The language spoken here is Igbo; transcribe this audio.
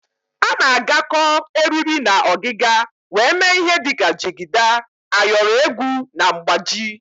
A na-agakọ eriri na ọgịga wee mee ihe dịka jigida, ayọrọ egwu na mgbaji.